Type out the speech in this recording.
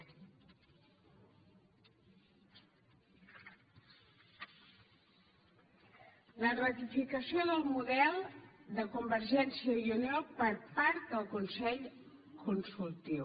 la ratificació del model de convergència i unió per part del consell consultiu